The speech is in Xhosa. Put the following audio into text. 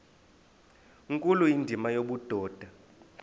nkulu indima yobudoda